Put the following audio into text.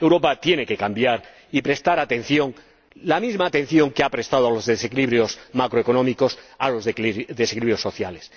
Europa tiene que cambiar y prestar atención —la misma atención que ha prestado a los desequilibrios macroeconómicos— a los desequilibrios sociales.